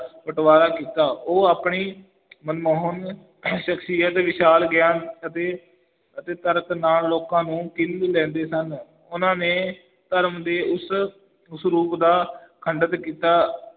ਬਟਵਾਰਾ ਕੀਤਾ, ਉਹ ਆਪਣੀ ਮਨਮੋਹਨ ਸ਼ਖ਼ਸੀਅਤ, ਵਿਸ਼ਾਲ ਗਿਆਨ ਅਤੇ ਅਤੇ ਤਰਕ ਨਾਲ ਲੋਕਾਂ ਨੂੰ ਕੀਲ ਲੈਂਦੇ ਸਨ, ਉਹਨਾਂ ਨੇ ਧਰਮ ਦੇ ਉਸ ਉਸ ਰੂਪ ਦਾ ਖੰਡਿਤ ਕੀਤਾ,